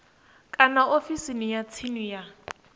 kana ofisini ya tsini ya